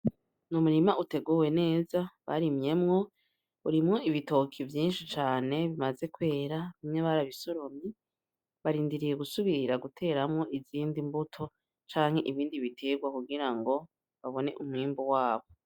N’umurima uteguwe neza barimyemwo urimwo ibitoki vyinshi cane bimaze kwera bamwe barabisoromye barindiriye gusubira guteramwo izindi mbuto canke ibindi biterwa kugira ngo babone umwimbu wabo.